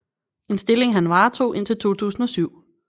En stilling han varetog indtil 2007